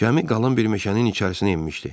Gəmi qalan bir meşənin içərisinə enmişdi.